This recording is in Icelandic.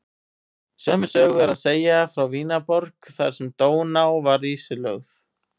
Sömu sögu er að segja frá Vínarborg þar sem Dóná var ísilögð.